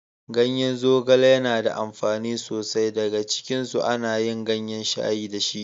Ganyen zogale yana da amfani so sai. Daga cikinsu ana yin gayen shayi da shi.